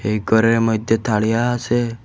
এই ঘরের মইধ্যে থারিয়া আসে।